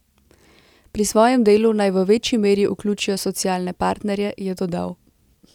Pri svojem delu naj v večji meri vključijo socialne partnerje, je dodal.